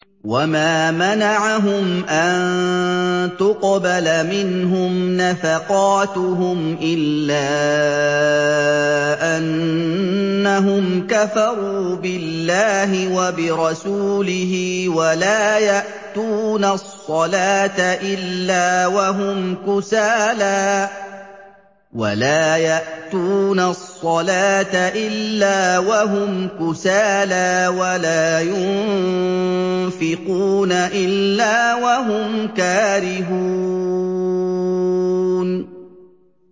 وَمَا مَنَعَهُمْ أَن تُقْبَلَ مِنْهُمْ نَفَقَاتُهُمْ إِلَّا أَنَّهُمْ كَفَرُوا بِاللَّهِ وَبِرَسُولِهِ وَلَا يَأْتُونَ الصَّلَاةَ إِلَّا وَهُمْ كُسَالَىٰ وَلَا يُنفِقُونَ إِلَّا وَهُمْ كَارِهُونَ